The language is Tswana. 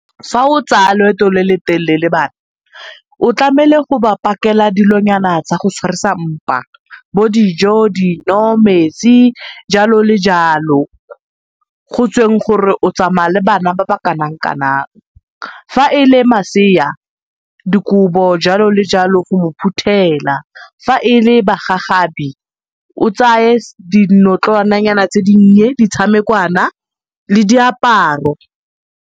Fa o tsaya loeto lo lo telele le bana, o tlamele go pakela dilonyana tsa go tshwarisa mpa bo dijo, dino, metsi, jalo le jalo, go tsweng gore o tsamaya le bana ba ba kanang-kanang. Fa e le masea, dikobo jalo le jalo o mo phuthela, fa e le bagagabi o tsaye dinotlwana nyana tse dinnye, ditshamekwana le diaparo.